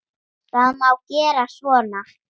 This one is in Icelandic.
Það má gera svona